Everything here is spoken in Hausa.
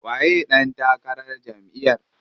Waye ɗan takarar jamʼiyar?